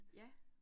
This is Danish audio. Ja